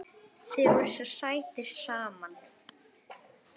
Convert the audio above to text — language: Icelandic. Þið voruð svo sætir saman.